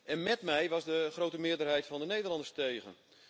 En met mij was de grote meerderheid van de Nederlanders tegen.